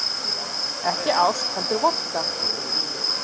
Ekki ást heldur vodka